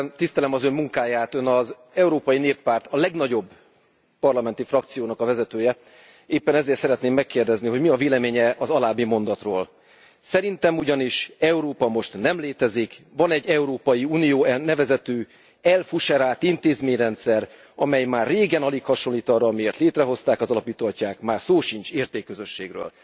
Én tisztelem az Ön munkáját, Ön az Európai Néppárt, a legnagyobb parlamenti frakciónak a vezetője, éppen ezért szeretném megkérdezni, hogy mi a véleménye az alábbi mondatról Szerintem ugyanis Európa most nem létezik, van egy Európai Unió nevezetű, elfuserált intézményrendszer, amely már régen alig hasonlít arra, amiért létrehozták az alapító atyák, már szó sincs értékközösségről.